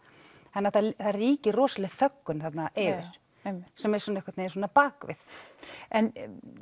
það ríkir rosaleg þöggun þarna yfir sem er svona einhvern veginn á bakvið en